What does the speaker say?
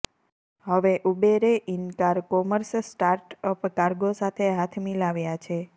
હવે ઉબેરે in car commerce startup Cargo સાથે હાથ મિલાવ્યા છે